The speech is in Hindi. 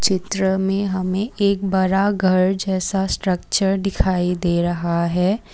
चित्र में हमें एक बरा घर जैसा स्ट्रक्चर दिखाई दे रहा है।